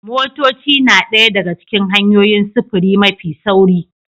Motoci na ɗaya daga cikin hanyoyin sufuri mafi sauri